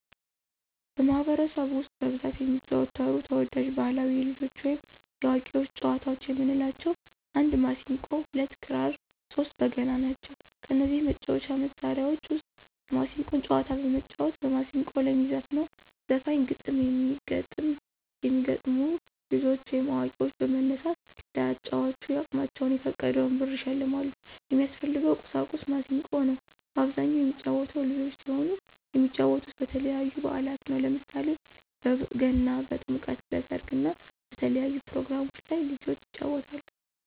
በማህበረሰቡ ውስጥ በብዛት የሚዘወተሩ ተወዳጅ ባህላዊ የልጆች ወይም የአዋቂዎች ጨዋታዎች የምንላቸው 1 የማሲንቆ 2 ክራር 3 በገና ናቸው። ከነዚህ የመጫወቻ መሣሪያዎች ውስጥ የማሲንቆን ጨዋታዎች በመጫወት በማስንቆ ለሚዘፍነው ዘፋኞች ግጥም የሚገጠምላ ልጆች ወይም አዋቂዎች በመነሳት ለአጫዋቹ አቅማቸውን የፈቀደውን ብር ይሸልማሉ። የሚያስፈልገው ቁሳቁስ ማሲንቆ ነው። በአብዛኛው የሚጫወተው ልጆች ሲሆኑ የሚጫወቱት በተለያዩ በአላት ነው። ለምሳሌ በገና፣ በጥምቀት፣ በሰርግ እና በተለያዩ ፕሮግራሞች ላይ ልጆች ይጫወታሉ።